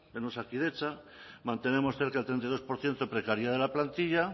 en osakidetza mantenemos cerca del treinta y dos por ciento de precariedad de la plantilla